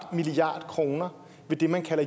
milliard kroner ved det man kalder